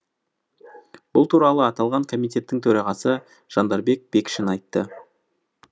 бұл туралы аталған комитеттің төрағасы жандарбек бекшин айтты